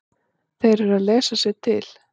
Þeir eru að lesa sér til.